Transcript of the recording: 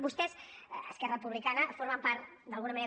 vostès esquerra republicana formen part d’alguna manera